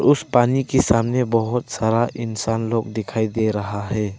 उस पानी के सामने बहोत सारा इंसान लोग दिखाई दे रहा है।